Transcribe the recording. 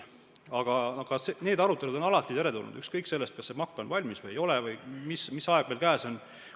Aga arutelud on alati teretulnud, ükskõik kas see MAK on valmis või ei ole või mis aeg meil käes on.